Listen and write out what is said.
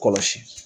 Kɔlɔsi